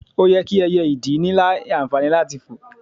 oye ki ẹyẹ ìdì ni anfani lati foò